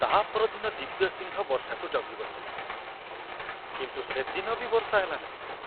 ତା ପରଦିନ ଦିବ୍ୟସିଂହ ବର୍ଷାକୁ ଜଗି ବସିଲା, କିନ୍ତୁ ସେଦିନ ବି ବର୍ଷା ହେଲାନାହିଁ।